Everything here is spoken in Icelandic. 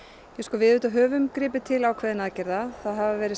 við höfum gripið til ákveðinna aðgerða það hafa verið